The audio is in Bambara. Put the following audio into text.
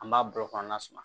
An b'a bolo kɔnɔna suman